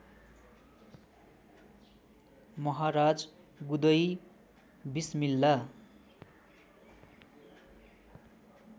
महाराज गुदई बिस्मिल्ला